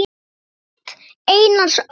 Rit Einars Ól.